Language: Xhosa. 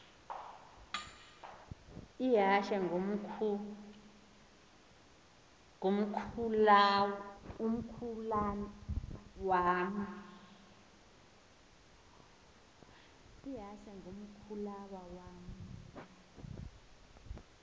ihashe ngumkhulawa uam